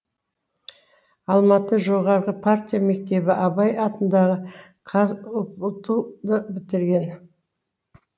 алматы жоғары партия мектебін абай атындағы қазұпту ды бітірген